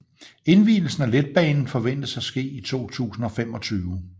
Indvielsen af letbanen forventes at ske i 2025